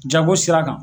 Jago sira kan